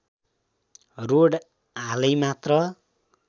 road हालै मात्र